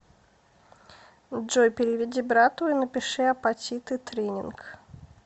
джой переведи брату и напиши апатиты тренинг